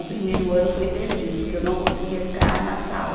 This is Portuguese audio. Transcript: O primeiro ano foi perdido, porque eu não conseguia ficar na sala.